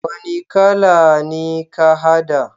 Wani kala ne ka hada?